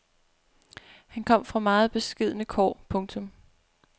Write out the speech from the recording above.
Han kom fra meget beskedne kår. punktum